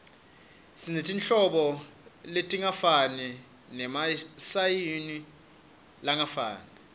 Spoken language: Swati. sinetinhlobo letingafani nemasayizi langafani